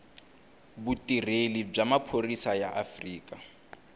vutirheli bya maphorisa ya afrika